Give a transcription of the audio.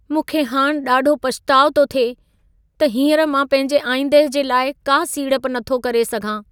मूंखे हाणि ॾाढो पछताउ थो थिए त हींअर मां पंहिंजे आईंदह जे लाइ का सीड़प नथो करे सघां।